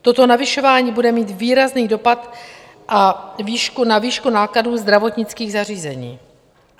Toto navyšování bude mít výrazný dopad na výšku nákladů zdravotnických zařízení.